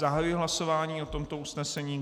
Zahajuji hlasování o tomto usnesení.